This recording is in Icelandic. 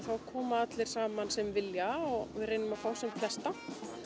þá koma allir saman sem vilja og við reynum að fá sem flesta